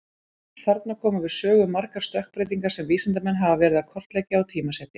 Þarna koma við sögu margar stökkbreytingar sem vísindamenn hafa verið að kortleggja og tímasetja.